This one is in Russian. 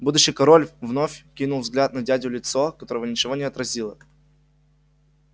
будущий король вновь кинул взгляд на дядю лицо которого ничего не отразило